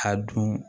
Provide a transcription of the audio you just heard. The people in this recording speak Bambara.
A dun